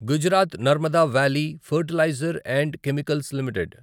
Gujarat Narmada valley fertilizers and chemicals limited